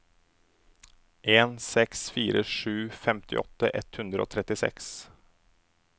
en seks fire sju femtiåtte ett hundre og trettiseks